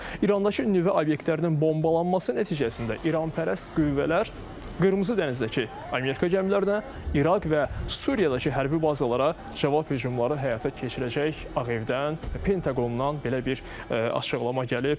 İrandakı nüvə obyektlərinin bombalanması nəticəsində İranpərəst qüvvələr Qırmızı dənizdəki Amerika gəmilərinə, İraq və Suriyadakı hərbi bazalara cavab hücumları həyata keçirəcək Ağ Evdən, Pentaqondan belə bir açıqlama gəlib.